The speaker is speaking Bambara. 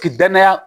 K'i danaya